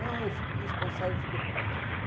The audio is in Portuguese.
Não, eu fico responsável, eu fico